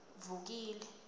vukile